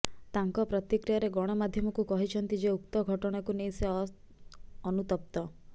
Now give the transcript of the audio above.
ତାଙ୍କ ପ୍ରତିକ୍ରିୟାରେ ଗଣମାଧ୍ୟମକୁ କହିଛନ୍ତି ଯେ ଉକ୍ତ ଘଟଣାକୁ ନେଇ ସେ ଅନୁତପ୍ତ